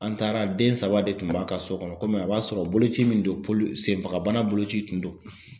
An taara den saba de tun b'a ka so kɔnɔ kɔmi a b'a sɔrɔ boloci min don senfagabana boloci tun don.